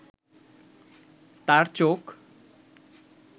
তার চোখ